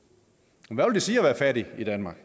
hvad vil det sige at være fattig i danmark